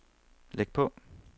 læg på